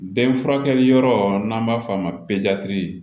Bɛn furakɛli yɔrɔ n'an b'a f'a ma